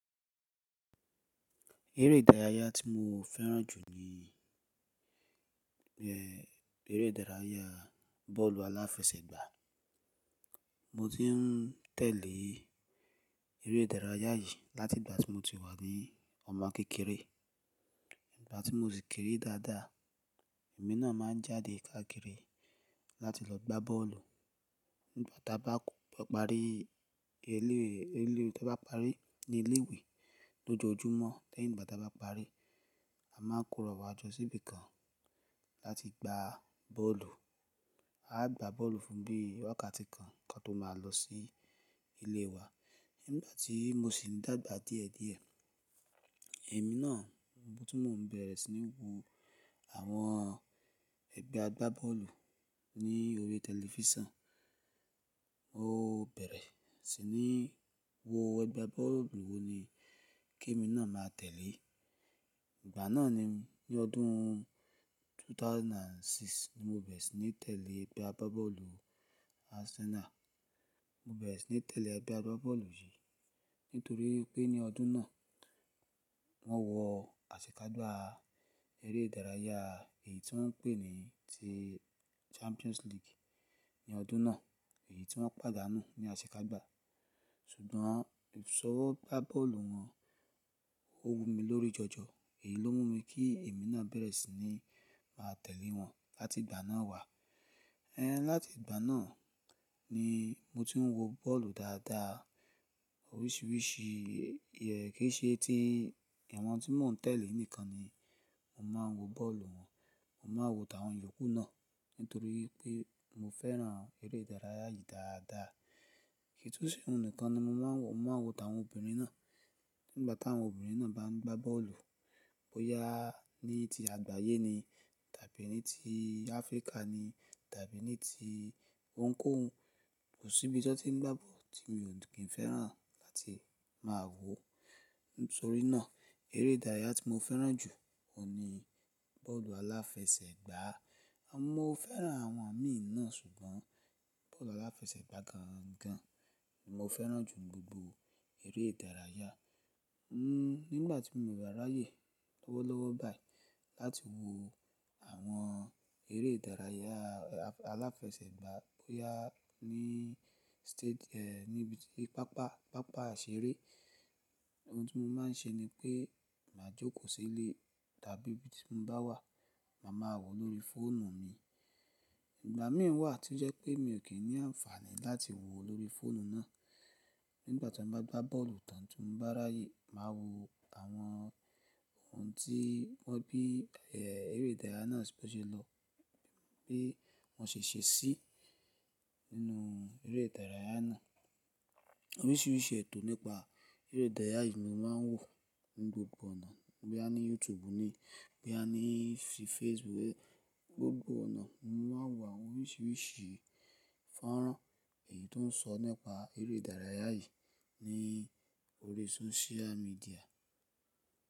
Eré ìdárayá tí mo fẹ́ràn jù ní eré ìdárayá bọ́ọ̀lù aláfẹsẹ̀gbá. Mo ti n tẹ̀lé eré ìdárayá yìí láti ìgbà tí mo ti wà ní ọmọ kékeré. Ìgbà tí mo sì kéré dáadáa, èmi náà máa ń jáde káàkiri láti lọ gbá bọ́ọ̀lù. Nígbà táa bá parí eléèlé, nígbà táa bá parí ní ilé ìwé lójoojúmọ́, lẹ́yìn nígbà táa bá parí, a máa ń kóra wá jọ síbí kan láti gbá bọ́ọ̀lù. A á gbá bọ́ọ̀lù fún bí i wákàtí kan kí a tó máa lọ sí ilé wa. Nígbà tí mo sì ń dàgbà díẹ̀díẹ̀, èmi náà ohun tí mò ń bẹ̀rẹ̀ sí ní wo àwọn ẹgbẹ́ agbá bọ́ọ̀lù ní orí tẹlifísàn. Mo bẹ̀rẹ̀ sí ní wo ẹgbẹ́ agbá bọ́ọ̀lù wo ni kí èmi náà máa tẹ̀lé. Ìgbà náà ni ní ọdún ẹgbẹ̀rún méjì ó lé mẹ́fà ni mo bẹ̀rẹ̀ sí ní tẹ̀lé ẹgbẹ́ agbá bọ́ọ̀lù Arsenal. Mo bẹ̀rẹ̀ sí ní tẹ̀lé ẹgbẹ́ agbá bọ́ọ̀lù yìí nítorí pé ní ọdún náà wọ́n wọ àsekágbá eré ìdárayá èyí tí wọ́n ń pè ní ti Champions League ní ọdún náà, èyí tí wọ́n padà nù ní àsekágbá Ṣùgbọ́n ìsọwọ́ gbá bọ́ọ̀lù wọn ó wu mi lórí jọjọ. Èyí ló mú mi kí èmi náà bẹ̀rẹ̀ sí ní máa tẹ̀lé wọn láti ìgbà náà wá. Ẹ̀ ẹ̀ láti ìgbà náà ni mo ti ń wo bọ́ọ̀lù dáadáa oríṣiríṣi. Iye kí í ṣe tí àwọn tí mò ń tẹ̀lé nìkan ni mò ń máa ń wo bọ́ọ̀lù wọn. Mo máa ń wo àwọn yòókù náà nítorí pé mo fẹ́ràn eré ìdárayá yìí dáadáa. Kì í tún se ohun nìkan ni mo máa ń wo, mo máa ń wo tàwọn obìnrin náà. Nígbà táwọn obìnrin náà bá ń gbá bọ́ọ̀lù bóyá ní ti àgbáyé ni tàbí ní ti Áfríkà ni tàbí ní ti òun kí òun. Kò síbi tí wọ́n ti ń gbá bọ́ọ̀lù tí mi ò kín fẹ́ràn láti máa wo. Nítorí náà eré ìdárayá tí mo fẹ́ràn jù ó ní bọ́ọ̀lù aláfẹsẹ̀gbá. Mo fẹ́ràn àwọn ẹ̀mí náà ṣùgbọ́n bọ́ọ̀lù aláfẹsẹ̀gbá gan gan ni mo fẹ́ràn jù ní gbogbo eré ìdárayá. Nígbà tí mo bá ráyé lọ́wọ́lọ́wọ́ báyìí láti wo àwọn eré ìdárayá aláfẹsẹ̀gbá bóyá ní state, eh níbi ti pápá, pápá ìseré, ohun tí mo máa ń ṣe ní pé màá jókòó sílé tàbí ibi tí mo bá wà, màá máa wo lórí fóònù mi. Ìgbà mìíràn wà tí ó jẹ́ pé mi ò kín ní àǹfààní láti wo lórí fóònù náà. Nígbà tí mo bá gbá bọ́ọ̀lù tán tí mo bá ráyé, màá wo àwọn ohun tí wọ́n bí eré ìdárayá náà ṣe lọ, bí wọ́n ṣe ṣe sí nínú eré ìdárayá náà. Oríṣiríṣi ètò nípa eré ìdárayá yìí ni mo máa ń wò ní gbogbo ọ̀nà bóyá ní YouTube ni, bóyá ní Facebook. Gbogbo ọ̀nà mo máa ń wo àwọn oríṣiríṣi ifọ́nra èyí tó ń sọ nípa eré ìdárayá yìí ní orí sóṣíà míḍíà.